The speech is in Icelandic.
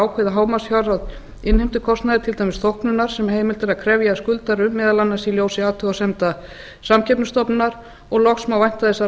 ákveði hámarksfjárhæð innheimtukostnaðar til dæmis þóknunar sem heimilt er að krefja skuldara um meðal annars í ljósi athugasemda samkeppnisstofnunar og loks má vænta þess að